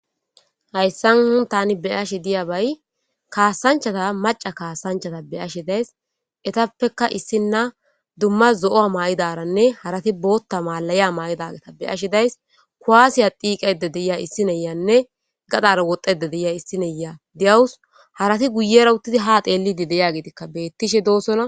Hayssan hun tani beyashe diya bay kaasanchata maca kaasanchata beyashe days etappekka issinna dumma zo' maa'daranne harati bootta maalayi maa7idaga beyashi days kuwaasiya diiqayde deyia issineyanne gadara wodede deyia issineya deyawus harati guye rawutidi ha xeellidi deya gitikka bettishe doosona.